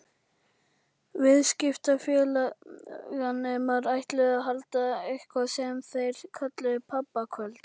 Viðskiptafræðinemar ætluðu að halda eitthvað sem þeir kölluðu pabbakvöld.